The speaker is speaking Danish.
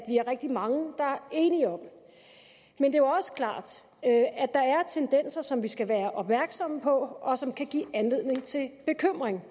er rigtig mange der er enige jo også klart at at der er tendenser som vi skal være opmærksomme på og som kan give anledning til bekymring